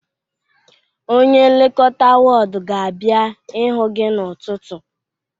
onye nlekọta ward ga-abịa ịhụ gị n'ụtụtụ